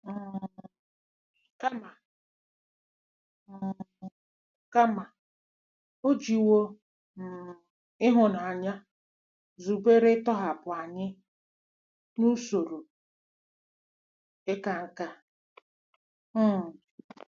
um Kama, um Kama, o jiwo um ịhụnanya zubere ịtọhapụ anyị n'usoro ịka nká! um